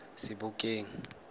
sebokeng